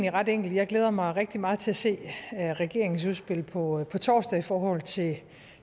er ret enkelt jeg glæder mig rigtig meget til at se regeringens udspil på på torsdag i forhold til